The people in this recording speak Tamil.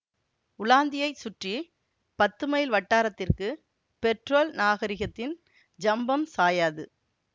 உலாந்தியைச் சுற்றி பத்துமைல் வட்டாரத்திற்கு பெட்ரோல் நாகரிகத்தின் ஜம்பம் சாயாது